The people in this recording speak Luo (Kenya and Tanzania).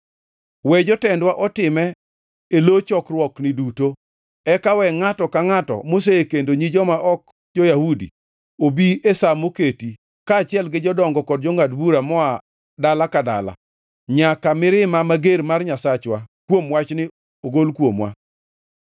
We jotendwa otime e lo chokruokni duto. Eka we ngʼato ka ngʼato mosekendo nyi joma ok jo-Yahudi obi e sa moketi, kaachiel gi jodongo kod jongʼad bura moa dala ka dala, nyaka mirima mager mar Nyasachwa kuom wachni ogol kuomwa.”